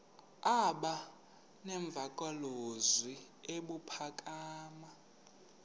aba nemvakalozwi ebuphakama